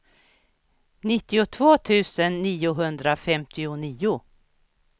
nittiotvå tusen niohundrafemtionio